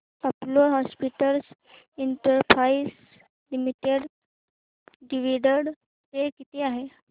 Apollo Hospitals Enterprise Limited dividend pay किती आहे